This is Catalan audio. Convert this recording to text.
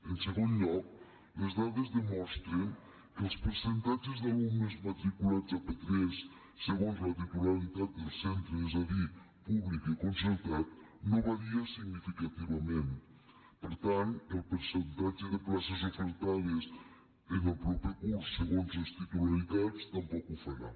en segon lloc les dades demostren que els percentatges d’alumnes matriculats a p3 segons la titularitat dels centres és a dir públic i concertat no varia significativament per tant el percentatge de places ofertades en el proper curs segons les titularitats tampoc ho farà